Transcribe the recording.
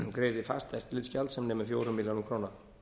greiði fast eftirlitsgjald sem nemur fjórum milljónum króna